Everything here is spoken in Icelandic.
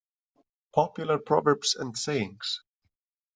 Popular Proverbs and Sayings.